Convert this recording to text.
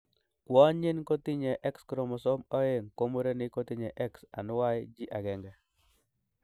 Kwonyin kotinye X chromosome oeng ko murenik kotinye X and Y agenge.